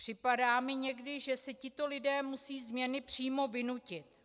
Připadá mi někdy, že si tito lidé musí změny přímo vynutit.